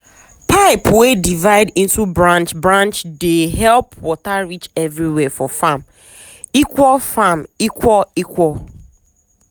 pipe wey divide into branch branch dey help water reach everywhere for farm equal farm equal equal.